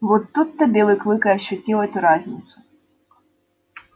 вот тут-то белый клык и ощутил эту разницу